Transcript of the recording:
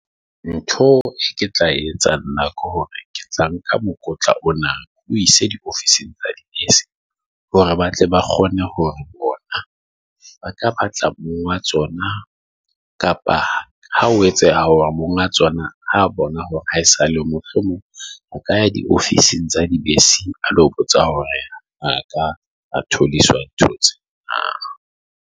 Ntho e ke tla etsa nna ke hore ke tla nka mokotla ona, ke o ise diofising tsa di se, hore ba tle ba kgone hore bona ba ka batla monga tsona, kapa ha o etse a o mong a tsona ha bona hore ha esale mohlomong a ka di ofising tsa di bese, a lo botsa hore a ka are told iswa di thotse .